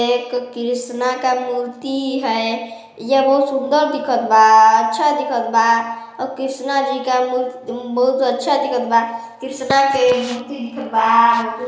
एक कृष्णा का मूर्ति है यह बहोत सुंदर दिखत बा अच्छा दिखत बा और कृष्णा जी का मूर्ति बहोत अच्छा दिखत बा कृष्णा के मूर्ति दिखत बा।